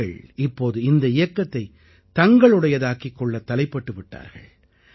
மக்கள் இப்போது இந்த இயக்கத்தை தங்களுடையதாக்கிக் கொள்ளத் தலைப்பட்டு விட்டார்கள்